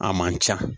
A man ca